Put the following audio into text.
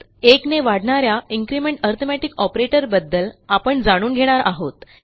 एकने वाढणा या इन्क्रिमेंट अरिथमेटिक ऑपरेटर बद्दल आपण जाणून घेणार आहोत